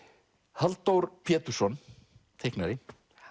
Halldór Pétursson teiknari